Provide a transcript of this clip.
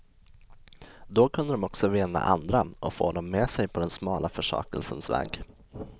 Då kunde de också vinna andra och få dem med sig på den smala försakelsens väg.